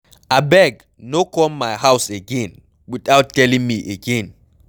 Abeg no come my house again without telling me again.